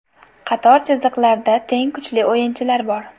Qator chiziqlarda teng kuchli o‘yinchilar bor.